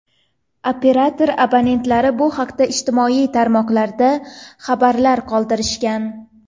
Operator abonentlari bu haqda ijtimoiy tarmoqlarda xabarlar qoldirishgan.